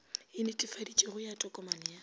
e netefaditšwego ya tokomane ya